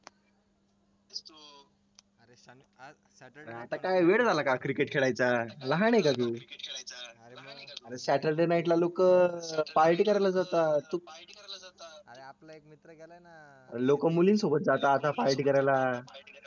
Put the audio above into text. आता का वेळ झाला का हा cricket खेळायचा लहान एका तू saturday night ला लोकं पार्टी करायला जातात तू लोक मुली सोबत जातात पार्टी करायला